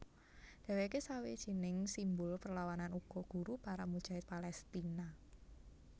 Dheweke sawijining simbul perlawanan uga guru para mujahid Palestina